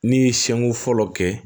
Ne ye seko fɔlɔ kɛ